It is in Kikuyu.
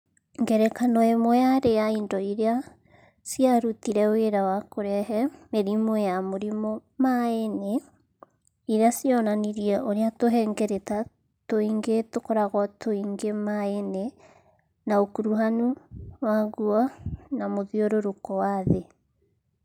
Ngerekano ĩmwe yarĩ ya indo iria ciarutire wĩra wa kũrehe mĩrimũ ya mũrimũ maĩinĩ iria cionanirie ũrĩa tũhengereta tũingĩ tũkoragwo tũingĩ maĩinĩ na ũkuruhanu waguo na mũthiũrũrũko wa thĩ.